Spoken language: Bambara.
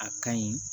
A ka ɲi